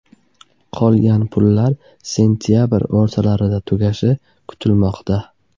Qolgan pullar sentabr o‘rtalarida tugashi kutilmoqda.